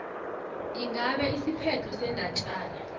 ingabe isiphetho sendatjana